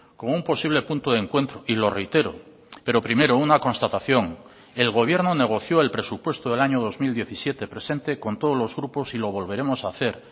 como un posible punto de encuentro y lo reitero pero primero una constatación el gobierno negoció el presupuesto del año dos mil diecisiete presente con todos los grupos y lo volveremos a hacer